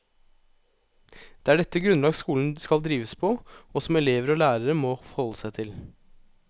Det er dette grunnlag skolen skal drives på, og som elever og lærere må forholde seg til.